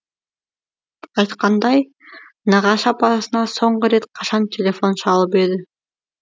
айтқандай нағашы апасына соңғы рет қашан телефон шалып еді